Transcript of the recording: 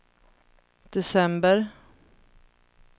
december